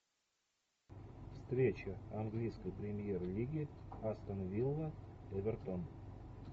встреча английской премьер лиги астон вилла эвертон